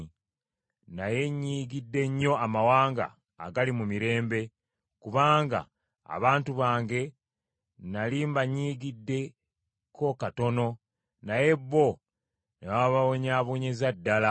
naye nyiigidde nnyo amawanga agali mu mirembe, kubanga abantu bange nnali mbanyiigiddeko katono naye bo ne bababonyaabonyeza ddala.’